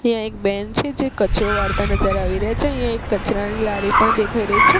ત્યાં એક બેન છે જે કચરો વાળતા નજર આવી રહ્યા છે અહીંયા એક કચરાની લારી પણ દેખાય રહી છે.